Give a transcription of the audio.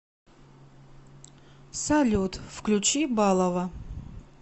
салют включи балова